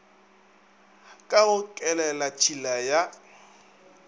ka go kelelat hila ya